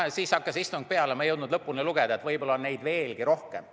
Istung hakkas peale ja ma ei jõudnud lõpuni lugeda, võib-olla on seda sõna veelgi rohkem.